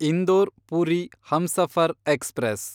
Indore Puri Humsafar express